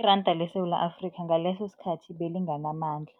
iranda leSewula Afrika ngaleso sikhathi belinganamandla.